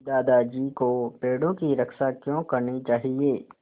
दादाजी को पेड़ों की रक्षा क्यों करनी चाहिए